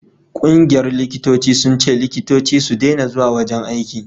ƙungiyar likitoci sun ce likitoci su dena zuwa wajen aiki